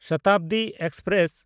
Shatabdi express